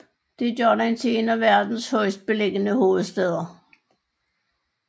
Det gør den til en af verdens højest beliggende hovedstæder